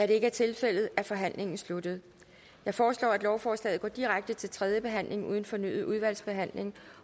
det ikke er tilfældet er forhandlingen sluttet jeg foreslår at lovforslaget går direkte til tredje behandling uden fornyet udvalgsbehandling